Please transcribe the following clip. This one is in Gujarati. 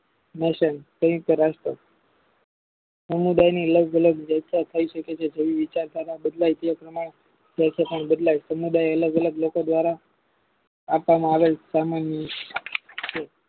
સંયુક્ત રાષ્ટ્ર સમુદાયની લાગલાગ થાય શકે છે તેમની વિચાર ધારા બદલાય સમુદાય અલગ અલગ લોકો દ્વારા આપવામાં આવે છે સામાન્ય